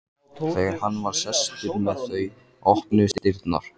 Þegar hann var sestur með þau opnuðust dyrnar.